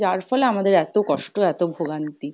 যার ফলে আমাদের এতো কষ্ট এতো ভোগান্তি ।